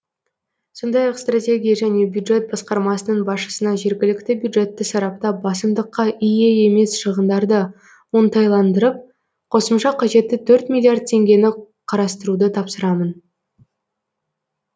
сондай ақ стратегия және бюджет басқармасының басшысына жергілікті бюджетті сараптап басымдыққа ие емес шығындарды оңтайландырып қосымша қажетті төрт миллиард теңгені қарастыруды тапсырамын